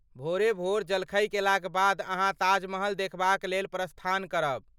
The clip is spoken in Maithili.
भोरे भोर जलखै केलाक बाद अहाँ ताजमहल देखबाक लेल प्रस्थान करब।